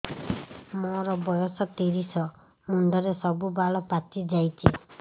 ମୋର ବୟସ ତିରିଶ ମୁଣ୍ଡରେ ସବୁ ବାଳ ପାଚିଯାଇଛି